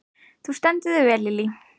Þú stendur þig vel, Lily!